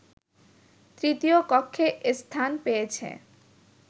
তৃতীয় কক্ষে স্থান পেয়েছে